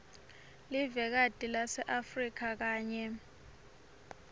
livekati laseafrika kanye